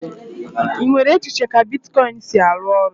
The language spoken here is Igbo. Ị nwere echiche ka bitkọịn si arụ ọrụ?